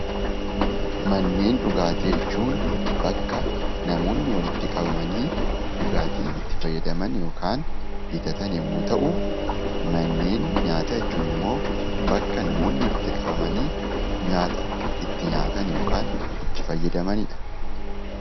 Manneen dhugaatii jechuun bakka namoonni walitti qabamanii dhugaatii itti fayyadaman yookaan bitatan yommuu ta'u, manneen nyaataa jechuun immoo bakka namoonni walitti qabamanii nyaata itti nyaatan yookaan itti fayyadamani dha.